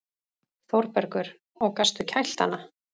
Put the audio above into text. ÞÓRBERGUR: Og gastu kælt hana?